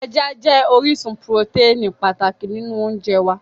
Ẹja jẹ́ orísun purotẹ́ẹ̀nì pàtàkì nínú oúnjẹ wá